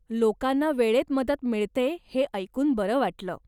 लोकांना वेळेत मदत मिळते हे ऐकून बरं वाटलं.